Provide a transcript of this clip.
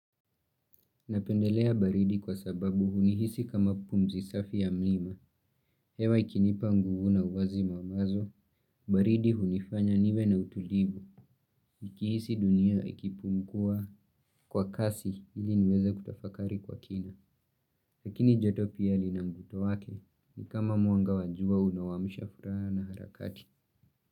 Napendelea baridi kwa sababu hunihisi kama pumzi safi ya mlima, hewa ikinipa nguvu na uwazi mamazo, baridi hunifanya niwe na utulivu, ikihisi dunia ikipumua kwa kasi ili niweza kutafakari kwa kina. Lakini joto pia lina mvuto wake, ni kama mwanga wajua unawamsha furaha na harakati.